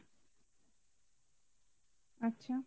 আচ্ছা